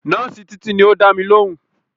Nọ́ọ̀sì Títí ni ó dámi lóhùn